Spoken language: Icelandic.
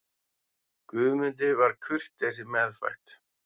Guðmundi var kurteisi meðfædd.